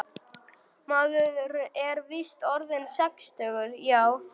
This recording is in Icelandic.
Maður er víst orðinn sextugur, já.